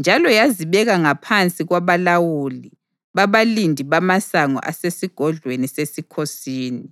njalo yazibeka ngaphansi kwabalawuli babalindi bamasango asesigodlweni sesikhosini.